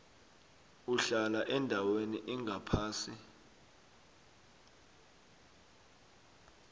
uhlala endaweni engaphasi